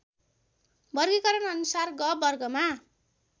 वर्गीकरण अनुसार ग वर्गमा